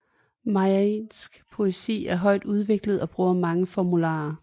Malajisk poesi er højt udviklet og bruger mange formularer